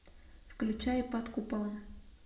включай под куполом